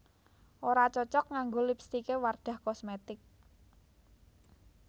Ora cocok nganggo lipstike Wardah Cosmetic